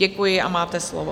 Děkuji a máte slovo.